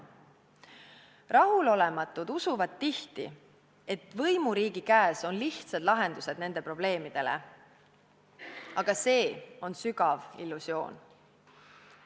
Rahulolematud usuvad tihti, et võimuriigi käes on lihtsad lahendused nende probleemidele, aga see on sügav illusioon.